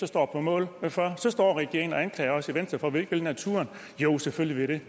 står på mål for så står regeringen og anklager os i venstre for at vi ikke vil naturen jo selvfølgelig vil